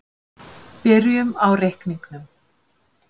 Byrjum á reikningnum.